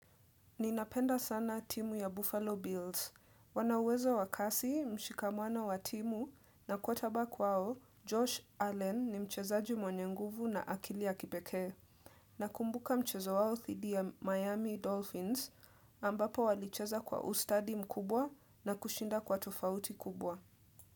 Ninapenda sana timu ya Buffalo Bills. Wana uwezo wa kasi, mshikamano wa timu, na quarter back wao, Josh Allen ni mchezaji mwenye nguvu na akili ya kipekee. Nakumbuka mchezo wao dhidi ya Miami Dolphins ambapo walicheza kwa ustadi mkubwa na kushinda kwa tofauti kubwa.